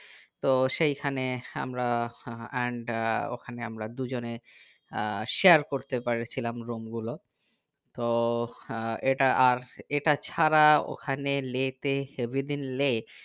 তো সেইখানে আমরা and ওখানে আমরা দুজনে আহ share করতে পেরেছিলাম room গুলো তো আহ এটা আর এটা ছাড়া ওখানে লে তে every দিন লে